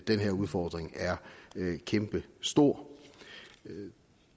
den her udfordring er kæmpestor